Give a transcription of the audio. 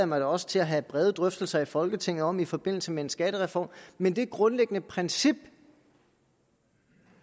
mig da også til at have brede drøftelser i folketinget om i forbindelse med en skattereform men det grundlæggende princip